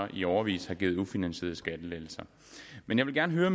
i årevis har givet ufinansierede skattelettelser men jeg vil gerne høre